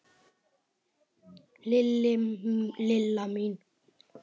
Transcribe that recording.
Lilla mín.